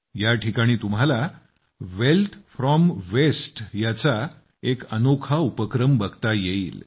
या ठिकाणी तुम्हाला वेल्थ फ्रॉम वेस्ट चा एक अनोखा उपक्रम बघता येईल